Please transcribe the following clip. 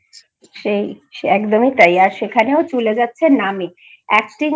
সেই একদমই তাই আর সেখানেও চলে যাচ্ছে নামে acting